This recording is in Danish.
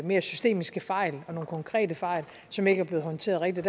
mere systemiske fejl og nogle konkrete fejl som ikke er blevet håndteret rigtigt